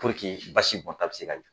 basi bɔnta bɛ se ka